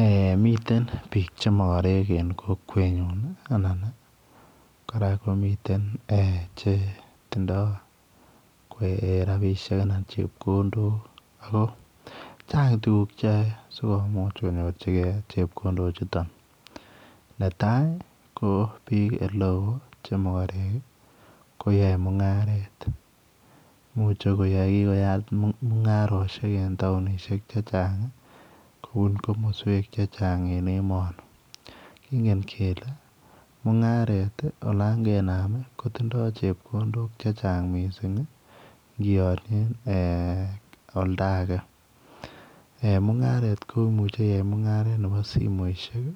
Eeh miten biik che magareek en kokwet nyuun ii anan ii kora komiteen eeh che tindaa rapisheek anan ko chepkondook ako chaang tuguuk che yae sikomuuch konyorjingei chepkondook chutoon netai ii ko biik ole wooh che magareek ii ko yae mungaret imuche kokiyaat mungaresiek en taunisheek che che chaang kobuun komosweek che chaang en emanii kingen kele mungaret ii olaan kenam ii kotindoi chepkondook che chaang missing ii kiaanien éh oldagei eh mungaret ko imuuchei iyai mungaret nebo simoisiek,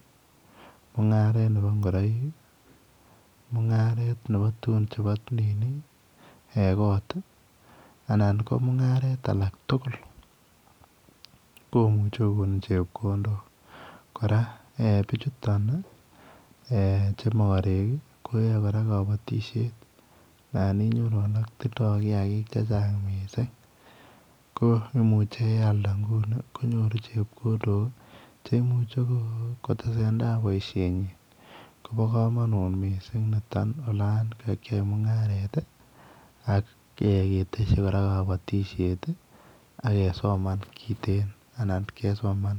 mungaret nebo ingoraik, mungaret nebo tugun chebo nini koot anan ko mungaret alaak tugul komuchei kogon chepkondook kora eeh bichutoon che magareek ii koyae kora kabatisyeet naan ignore age tindaa kiagik che chaang missing, ko imuche ye aldaa nguni konyooru chepkondook cheimuche kotesetai boisiet nyiin ko baa kamanuut missing olaan kagiyai mungaret ii ak ketesyii kora kabatisyeet ii ak kesoman kiteen anan kesoman.